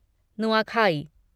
Nuakhai